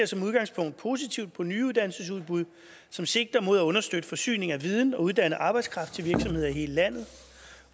som udgangspunkt positivt på nye uddannelsesudbud som sigter mod at understøtte forsyning af viden og uddanne arbejdskraft til virksomheder i hele landet